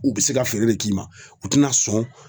U bɛ se ka feere de k'i ma u tɛna sɔn